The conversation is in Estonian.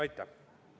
Aitäh!